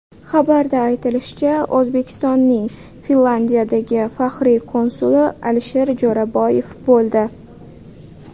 Xabarda aytilishicha, O‘zbekistonning Finlyandiyadagi faxriy konsuli Alisher Jo‘raboyev bo‘ldi.